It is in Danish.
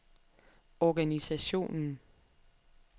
organisationen